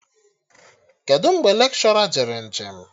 Kedụ mgbe lekshọra jere nje m?